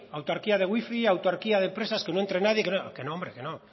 autarquía de wifi autarquía de empresas que no entre nadie que no hombre que no